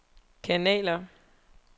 kanaler